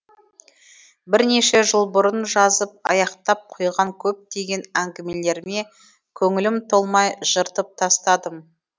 бірнеше жыл бұрын жазып аяқтап қойған көптеген әңгімелеріме көңілім толмай жыртып тастадым